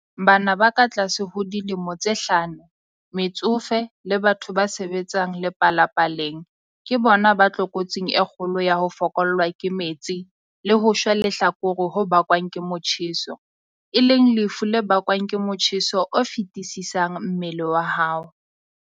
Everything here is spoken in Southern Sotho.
Bana ba katlase ho dilemo tse hlano, metsofe le batho ba sebetsang lepalapaleng ke bona ba tlokotsing e kgolo ya ho fokollwa ke metsi le ho shwa lehlakore ho bakwang ke motjheso, e leng lefu le bakwang ke motjheso o feti-sisang mmeleng wa hao.